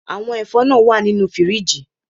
Àwọn ẹ̀fọ́ náà wà nínú fíríjì